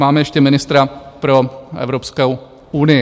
Máme ještě ministra pro Evropskou unii.